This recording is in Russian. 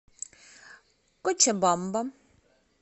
кочабамба